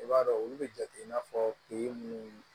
I b'a dɔn olu bɛ jate i n'a fɔ ke munnu